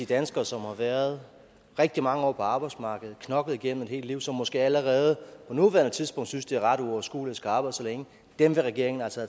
danskere som har været rigtig mange år på arbejdsmarkedet knoklet igennem et helt liv og som måske allerede på nuværende tidspunkt synes det er ret uoverskueligt at skulle arbejde så længe vil regeringen altså